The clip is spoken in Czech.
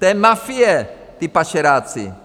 To je mafie, ti pašeráci!